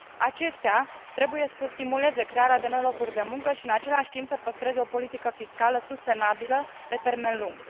Acestea trebuie să stimuleze crearea de noi locuri de muncă și, în același timp, să păstreze o politică fiscală sustenabilă pe termen lung.